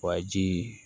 Wa ji